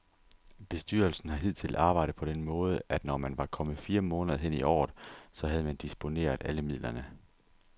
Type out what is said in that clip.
Bestyrelsen har hidtil arbejdet på den måde, at når man var kommet fire måneder hen i året, så havde man disponeret alle midlerne.